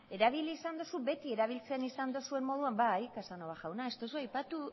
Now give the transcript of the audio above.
erabili izan duzu beti erabiltzen izan duzuen moduan bai casanova jauna ez duzue aipatu